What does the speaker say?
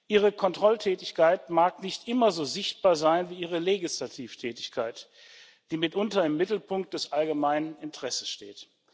Ihre Kontrolltätigkeit mag nicht immer so sichtbar sein wie Ihre Legislativtätigkeit, die mitunter im Mittelpunkt des allgemeinen Interesses steht.